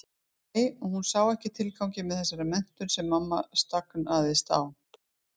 Nei, hún sá ekki tilganginn með þessari menntun sem mamma stagaðist á.